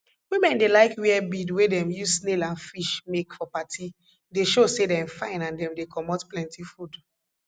women dey like wear bead wey dem use snail and fish make for party dey show say dem fine and dem dey comot plenty food